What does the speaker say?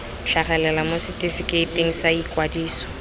tlhagelela mo setefikeiting sa ikwadiso